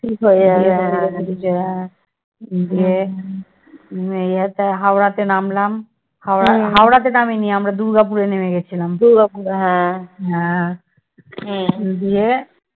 দিয়ে ইয়েতে হাওড়াতে নামলাম হাওড়া হাওড়াতে নামিনি আমরা দুর্গাপুরে নেমে গেছিলাম হ্যাঁ দিয়ে